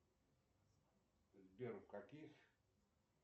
сбер в каких